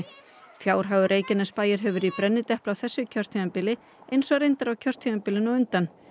fjárhagur Reykjanesbæjar hefur verið í brennidepli á þessu kjörtímabili eins og reyndar kjörtímabilinu á undan